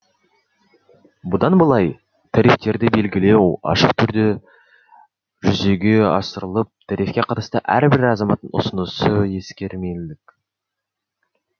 бұдан былай тарифтерді белгілеу ашық түрде жүзеге асырылып тарифке қатысты әрбір азаматтың ұсынысы ескермелік